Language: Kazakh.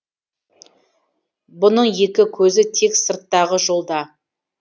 бұның екі көзі тек сырттағы жолда